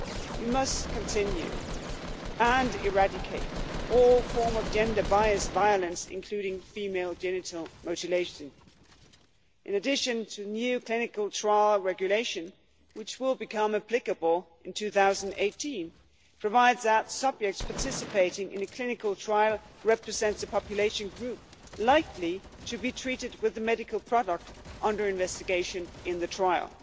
We must also continue our work to eradicate all forms of gender-based violence, including female genital mutilation. In addition, the new Clinical Trial Regulation, which will become applicable in 2018, provides that subjects participating in a clinical trial should represent a population group likely to be treated with the medical product under investigation in the trial.